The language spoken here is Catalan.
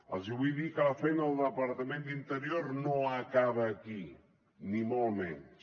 els vull dir que la feina del departament d’interior no acaba aquí ni molt menys